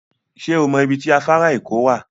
Sẹ́ ọ mọ ibi tó afàrà èkó wá?